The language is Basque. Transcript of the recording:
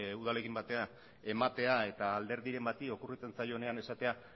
udalekin batera ematea eta alderdiren bati okurritzen zaionean esatea